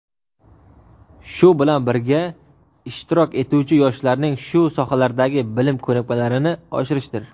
shu bilan birga ishtirok etuvchi yoshlarning shu sohalardagi bilim ko‘nikmalarini oshirishdir.